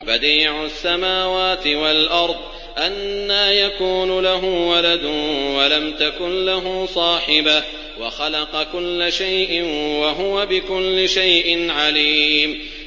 بَدِيعُ السَّمَاوَاتِ وَالْأَرْضِ ۖ أَنَّىٰ يَكُونُ لَهُ وَلَدٌ وَلَمْ تَكُن لَّهُ صَاحِبَةٌ ۖ وَخَلَقَ كُلَّ شَيْءٍ ۖ وَهُوَ بِكُلِّ شَيْءٍ عَلِيمٌ